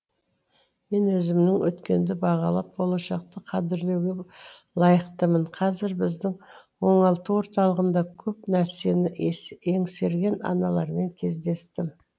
мен өзімнің өткенді бағалап болашақты қадірлеуге лайықтымын қазыр біздің оңалту орталығында көп нәрсені еңсерген аналармен кездестім